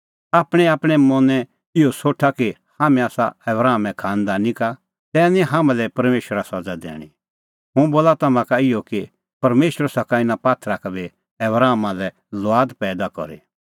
आपणैंआपणैं मनैं निं इहअ सोठा कि हाम्हैं आसा आबरामे खांनदानी का तै निं हाम्हां लै परमेशरा सज़ा दैणीं हुंह बोला तम्हां का इहअ कि परमेशर सका इना पात्थरा का बी आबरामा लै लुआद पैईदा करी